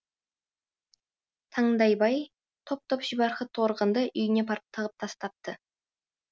таңдайбай топ топ шибарқыт торғынды үйіне апарып тығып тастапты